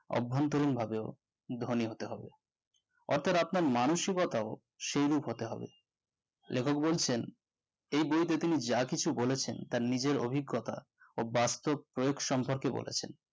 অভ্যন্তরীন ভাবে ধনী হতে হবে অর্থাৎ আপনার মানুষিকতাও সেইরূপ হতে হবে লেখক বলছেন এই বইতে তিনি যা কিছু বলেছেন তার নিজের অভিজ্ঞতা ও বাস্তব প্রয়োগ সম্পর্কে বলেছেন